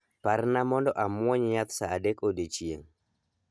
Parna mondo amwony yath saa adek odiechieng'.